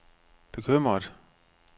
bekymret